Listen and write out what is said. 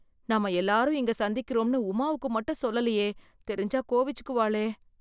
நாம எல்லாரும் இங்க சந்திக்கறோம்னு உமாவுக்கு மட்டும் சொல்லலயே... தெரிஞ்சா கோவிச்சுக்குவாளே...